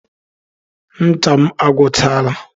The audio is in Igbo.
Ncha m agwuchaala.